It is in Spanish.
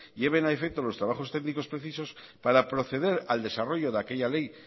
lleven a efecto los trabajos técnicos precisos para proceder al desarrollo de aquella ley